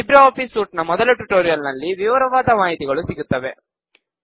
Libre office suite ನ ಮೊದಲ tutorial ನಲ್ಲಿ ವಿವರವಾದ ಮಾಹಿತಿಗಳು ಸಿಗುತ್ತವೆ